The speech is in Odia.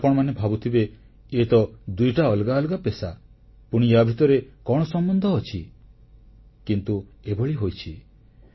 ଏବେ ଆପଣମାନେ ଭାବୁଥିବେ ଇଏତ ଦୁଇଟି ଅଲଗା ଅଲଗା ପେଷା ପୁଣି ୟା ଭିତରେ କଣ ସମ୍ବନ୍ଧ ଅଛି କିନ୍ତୁ ଏଭଳି ହୋଇଛି